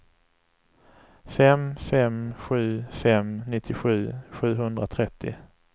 fem fem sju fem nittiosju sjuhundratrettio